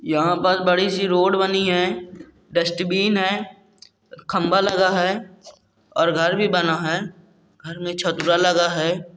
यहां पर बड़ी सी रोड बनी है डस्टबिन है खंभा लगा है और घर भी बना है घर में छतरा लगा है।